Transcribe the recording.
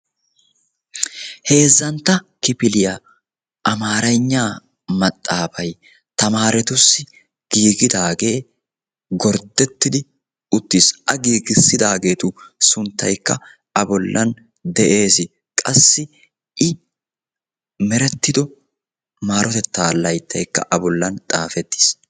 heezzantto kifiliya amarenya maxaafa tamaaretuyyo giigidaage gorddettidi uttiis. a giigissidaageetu sunttaykka a bollan de'ees. qassi I meretiddo maarotetta layttaykka a bollan xaafetiis.